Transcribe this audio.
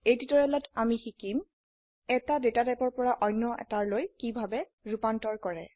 এই টিউটোৰিয়েলত আমি শিকিম এটা ডেটা টাইপৰ পৰা অন্য এতাৰলৈ কিভাবে ৰুপান্তৰ কৰা